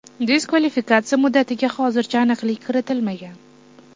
Diskvalifikatsiya muddatiga hozircha aniqlik kiritilmagan.